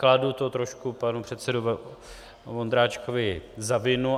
Kladu to trošku panu předsedovi Vondráčkovi za vinu.